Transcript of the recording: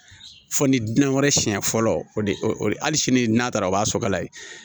Fo ni dinɛ wɛrɛ siɲɛ fɔlɔ o de hali sini n'a taara o b'a sɔgɔ la yen